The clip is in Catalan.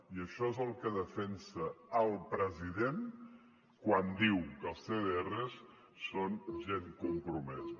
i això és el que defensa el president quan diu que els cdrs són gent compromesa